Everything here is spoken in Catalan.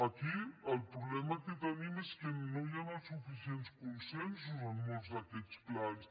aquí el problema que tenim és que no hi han els suficients consensos en molts d’aquests plans